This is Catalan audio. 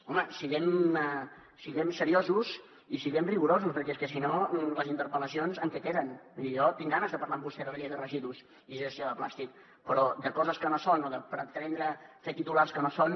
home siguem seriosos i siguem rigorosos perquè és que si no les interpel·lacions en què queden vull dir jo tinc ganes de parlar amb vostè de la llei de residus i de la gestió de plàstic però de coses que no són o de pretendre fer titulars que no són